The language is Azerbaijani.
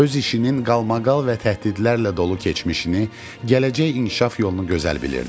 Öz işinin qalmaqal və təhdidlərlə dolu keçmişini, gələcək inkişaf yolunu gözəl bilirdi.